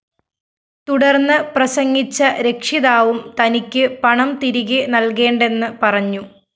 തുടര്‍ന്ന് പ്രസംഗിച്ച രക്ഷിതാവും തനിക്ക് പണം തിരികെ നല്‍കേണ്ടെന്ന് പറഞ്ഞു